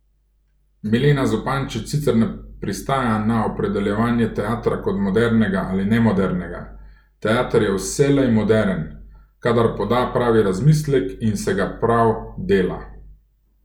Milena Zupančič sicer ne pristaja na opredeljevanje teatra kot modernega ali nemodernega: 'Teater je vselej moderen, kadar poda pravi razmislek in se ga prav dela.